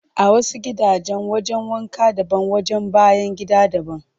A wasu gidajen wajen wanka daban wajen bayan gida daban